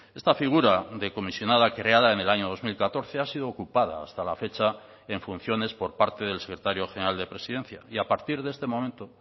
esta figura de comisionada creada en el año dos mil catorce ha sido ocupada hasta la fecha en funciones por parte del secretario general de presidencia y a partir de este momento